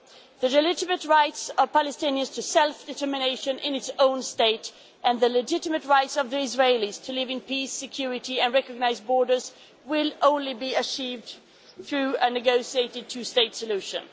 The legitimate rights of Palestinians to self determination in their own state and the legitimate rights of the Israelis to live in peace, security and recognised borders will only be achieved through a negotiated two state solution.